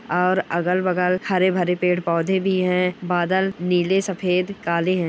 और अगल-बगल हरे-भरे पेड़ पौधे भी हैं। बादल नीले सफ़ेद काले है।